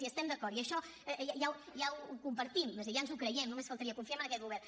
hi estem d’acord i això ja ho compartim és a dir ja ens ho creiem només faltaria confiem en aquest govern